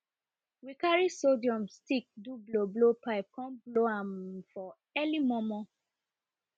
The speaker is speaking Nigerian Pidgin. we carry sorghum stick do blow blow pipe come blow am um for early momo